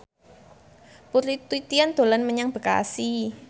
Putri Titian dolan menyang Bekasi